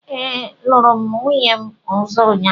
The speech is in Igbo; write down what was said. Ee, lụrụ m nwunye ọzọ ụnyahụ